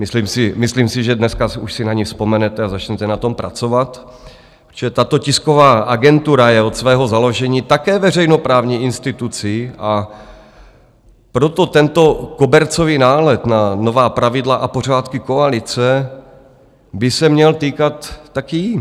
Myslím si, že dneska už si na ni vzpomenete a začnete na tom pracovat, protože tato tisková agentura je od svého založení také veřejnoprávní institucí, a proto tento kobercový nálet na nová pravidla a pořádky koalice by se měl týkat taky jí.